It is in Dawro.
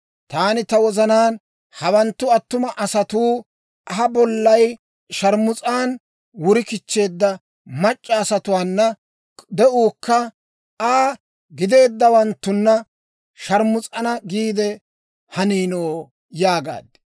«Taani ta wozanaan, ‹Hawanttu attuma asatuu ha bollay sharmus's'aan wuri kichcheedda mac'c'a asatuwaana de'uukka Aa gideeddawanttuna sharmus'ana giide haniino?› yaagaad.